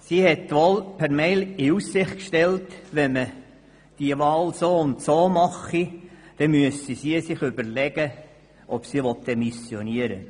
Sie hat zwar in Aussicht gestellt, wenn man die Wahl in dieser Art vornehme, dann überlege sie sich, ob sie demissioniere.